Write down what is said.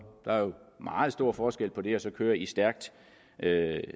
der er jo meget stor forskel på det og så at køre i stærk